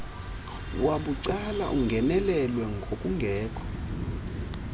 wabucala ungenelelwe ngokungekho